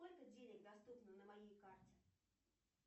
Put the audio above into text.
сколько денег доступно на моей карте